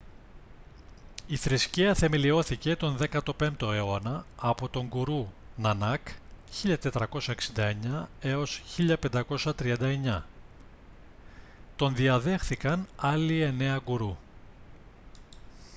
η θρησκεία θεμελιώθηκε τον 15ο αιώνα από τον γκουρού νανάκ 1469-1539. τον διαδέχθηκαν άλλοι εννέα γκουρού